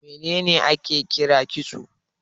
Me ne ne ake kira kitso?